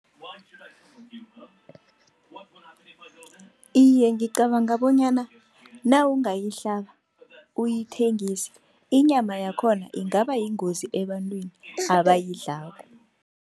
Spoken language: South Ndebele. Iye, ngicabanga bonyana nawungayihlaba uyithengise, inyama yakhona ingaba yingozi ebantwini abayidlako.